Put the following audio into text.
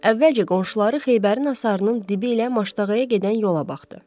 Əvvəlcə qonşuları Xeybərin hasarının dibi ilə Maştağaya gedən yola baxdı.